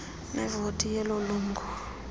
nevoti yeloo lungu